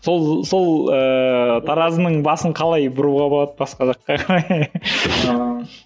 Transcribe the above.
сол сол ыыы таразының басын қалай бұруға болады басқа жаққа